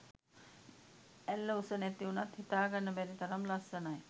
ඇල්ල උස නැති උනත් හිතා ගන්න බැරි තරම් ලස්සනයි